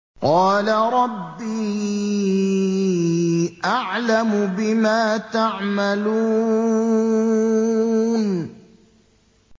قَالَ رَبِّي أَعْلَمُ بِمَا تَعْمَلُونَ